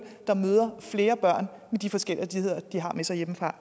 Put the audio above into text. der møder flere børn med de forskelligheder de har med sig hjemmefra